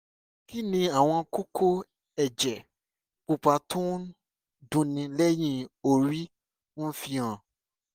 kí ni àwọn kókó ẹ̀jẹ̀ pupa tó ń dunni lẹ́yìn orí ń fi hàn?